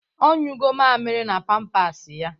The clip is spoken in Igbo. Ọ nyụgọ mamịrị na pampasị ya.